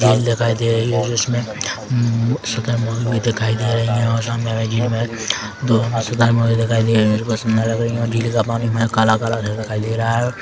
झील दिखाई दे रही हैं जिसमें उम्म सतुरमुर्ग भी दिखाई दे रहैं हैं और सामने वाले झील में दो सतुरमुर्ग दिखाई दे रहैं हैं मेरे को सुंदर लग रही हैं और झील का पानी बेहद काला काला सा दिखाई दे रहा हैं।